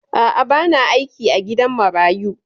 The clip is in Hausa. A'a, ba na aiki a gidan marayu.